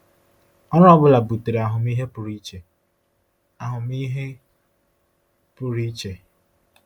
Ọrụ ọ bụla butere ahụmịhe pụrụ iche. ahụmịhe pụrụ iche.